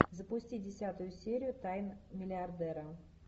запусти десятую серию тайн миллиардера